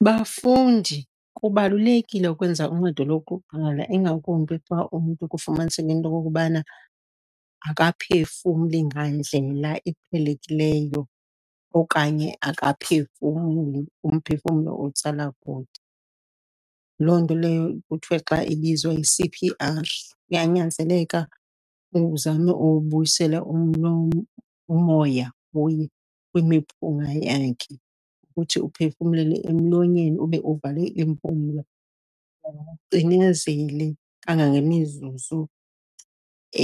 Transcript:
Bafundi, kubalulekile ukwenza uncedo lokuqala ingakumbi xa umntu kufumaniseka into okokubana akaphefumli ngandlela iqhelekileyo, okanye akaphefumli, umphefumlo uwutsala kude. Loo nto leyo kuthiwe xa ibizwa yi-C_P_R. Kuyanyanzeleka uzame ubuyisela umoya kuye, kwimiphunga yakhe, uthi uphefumlele emlonyeni ube uvale iimpumlo. kangangemizuzu